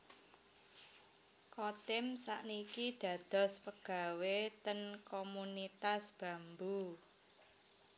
Chotim sak niki dados pegawe ten Komunitas Bambu